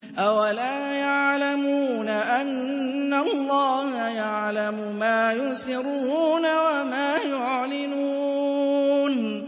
أَوَلَا يَعْلَمُونَ أَنَّ اللَّهَ يَعْلَمُ مَا يُسِرُّونَ وَمَا يُعْلِنُونَ